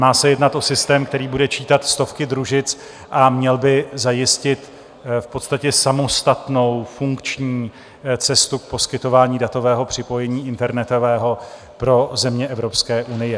Má se jednat o systém, který bude čítat stovky družic, a měl by zajistit v podstatě samostatnou funkční cestu k poskytování datového připojení internetového pro země Evropské unie.